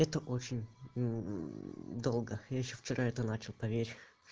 это очень долго я ещё вчера это начал поверь